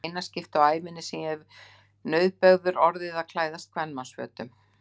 Það er í eina skiptið á ævinni sem ég hef nauðbeygður orðið að klæðast kvenmannsfötum.